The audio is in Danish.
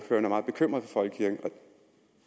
er meget bekymret for folkekirken